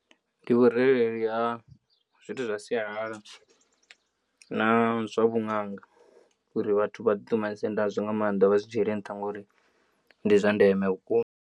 Ndi vhurereli ha zwithu zwa sialala na zwa vhaṅanga uri vhathu vha ḓi ṱumanise ngazwo nga maanḓa vha zwi dzhiele nṱha ngauri ndi zwa ndeme vhukuma.